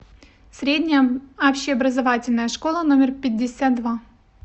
средняя общеобразовательная школа номер пятьдесят два